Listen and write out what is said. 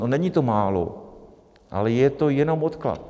No, není to málo, ale je to jenom odklad.